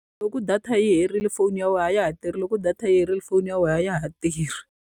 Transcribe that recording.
I ku data ya wena yi herile, phone a ya wena a ya ha tirhi. Loko data ya wena yi herile, phone a ya tirhi.